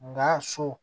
Nga so